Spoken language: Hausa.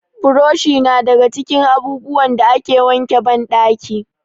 Buroshi na daga cikin abubuwan da ake wanke banɗaki.